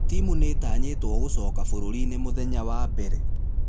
Timũ nĩĩtqnyĩtwo gũcoka bũrũri-inĩ mũthenya wa mbere.